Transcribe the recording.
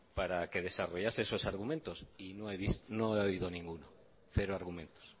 para que desarrollase esos argumentos y no he oído ninguno cero argumentos